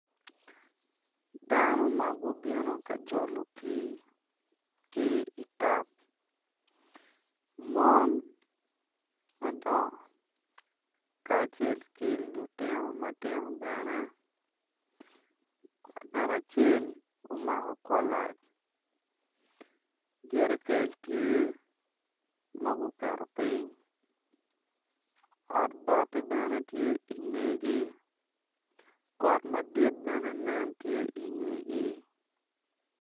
Dano ma gubino ka jolo pii ki i tap mon madongo kacel ki lutino matino bene ngat acel omako kolac jerekel tye ma guketo piny ot bati bene tye i ngegi got madit bene nen tye i ngegi.